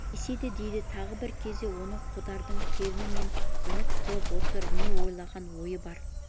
деседі дейді тағы бір кезде осы қодардың келіні нені үміт қылып отыр не ойлаған ойы бар